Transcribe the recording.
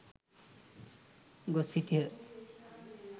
ගොස් සිටියහ.